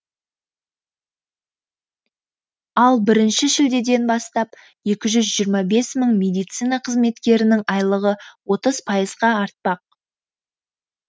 ал бірінші шілдеден бастап екі жүз жиырма бес мың медицина қызметкерінің айлығы отыз пайызға артпақ